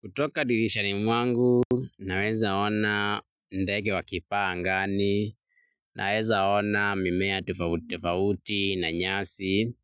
Kutoka dirishani mwangu, naweza ona ndege wakipaa angani, naweza ona mimea tofauti tofauti na nyasi,